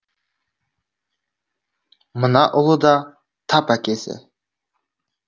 мына ұлы да тап әкесі